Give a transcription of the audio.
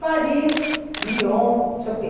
Paris, Lyon, não sei o quê.